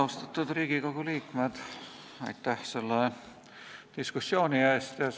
Austatud Riigikogu liikmed, aitäh selle diskussiooni eest!